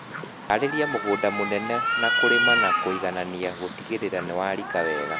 Harĩria mũgũnda mũnene na kũrĩma na kũiganania gũtigĩrĩra nĩwarika wega